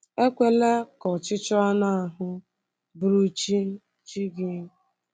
Ekwela ka ọchịchọ anụ ahụ bụrụ chi chi gị